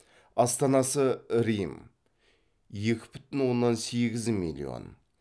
астанасы рим